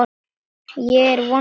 Ég er vongóð.